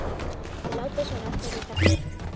Þeir láta svona þessir karlar.